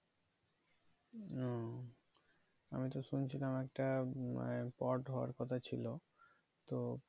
ও আমি তো শুনছিলাম একটা আহ পড হওয়ার কথা ছিল তো